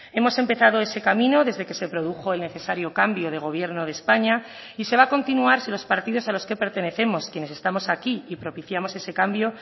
hemos empezado ese camino desde que se produjo el necesario cambio de gobierno de españa y se va a continuar si los partidos a los que pertenecemos quienes estamos aquí y propiciamos ese cambio